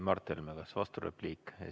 Mart Helme, kas vasturepliik?